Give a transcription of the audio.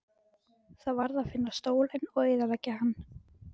Það varð að finna stólinn og eyðileggja hann.